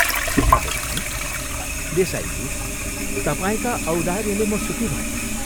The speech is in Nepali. शेखरले भन्यो, " देसाईजी, तपाईंका औदार्यले म सुखी भएँ।